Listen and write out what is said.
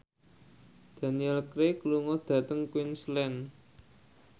Daniel Craig lunga dhateng Queensland